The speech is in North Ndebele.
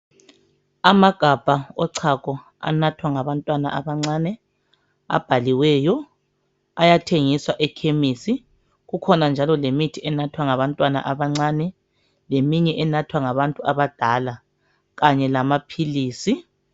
Amagabha ochago anathwa ngabantwana abancane abhaliweyo ayathengiswa ekhemisi .Kukhona njalo lemithi enathwa ngabantwana abancane leminye enathwa ngabantu abadala kanye lamaphilisi .